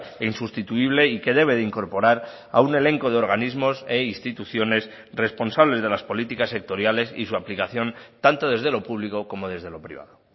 e insustituible y que debe de incorporar a un elenco de organismos e instituciones responsables de las políticas sectoriales y su aplicación tanto desde lo público como desde lo privado